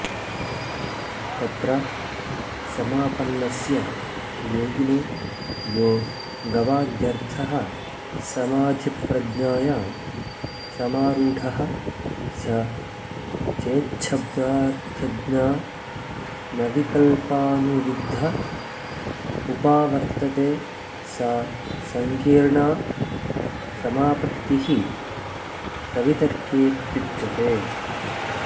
तत्र समापन्नस्य योगिनो यो गवाद्यर्थः समाधिप्रज्ञायां समारूढः स चेच्छब्दार्थज्ञानविकल्पानुविद्ध उपावर्तते सा संकीर्णा समापत्तिः सवितर्केत्युच्यते